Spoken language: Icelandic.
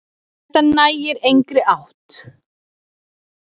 Þetta nær engri átt.